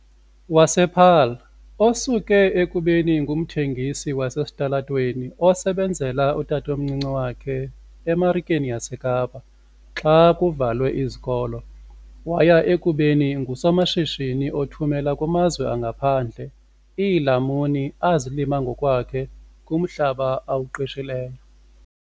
wasePaarl, osuke ekubeni ngumthengisi wasesitalatweni osebenzela utatomncinci wakhe eMarikeni yaseKapa xa kuvalwe izikolo waya ekubeni ngusomashishini othumela kumazwe angaphandle iilamuni azilima ngokwakhe kumhlaba awuqeshileyo.